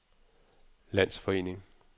landsforening